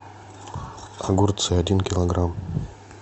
огурцы один килограмм